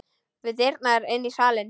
Við dyrnar inn í salinn.